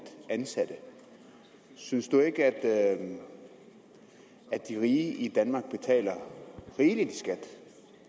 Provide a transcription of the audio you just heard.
ansatte synes du ikke at de rige i danmark betaler rigeligt i skat